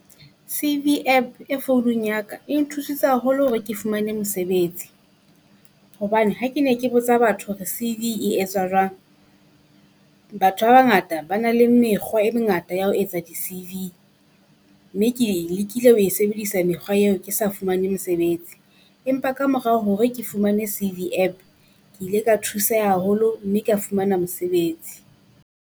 C_V App e founong ya ka, e nthusitse haholo hore ke fumane mosebetsi. Hobane ha ke ne ke botsa batho e etsa jwang. Batho ba bangata ba na le mekgwa e mengata ya ho etsa di C_V, mme ke e lekile ho e sebedisa mekgwa eo ke sa fumane mosebetsi, empa kamorao hore ke fumane C_V App ke ile ka thuseha haholo mme kea fumana mosebetsi.